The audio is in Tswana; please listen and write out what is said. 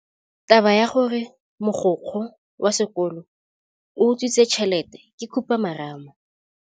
Taba ya gore mogokgo wa sekolo o utswitse tšhelete ke khupamarama.